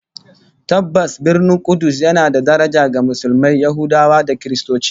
Tabbas, Birnin Kudus yana da daraja ga Musulmai, Yahudawa da Kiristoci